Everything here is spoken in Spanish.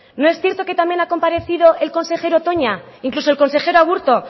no es cierto que también ha comparecido el consejero toña incluso el consejero aburto